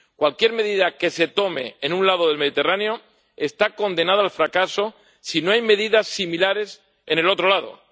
Cualquier medida que se tome en un lado del Mediterráneo está condenada al fracaso si no hay medidas similares en el otro lado.